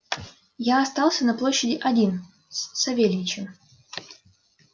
я остался на площади один с савельичем